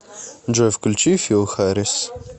джой включи фил харрис